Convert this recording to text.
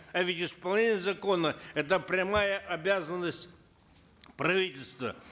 а ведь исполнение закона это прямая обязанность правительства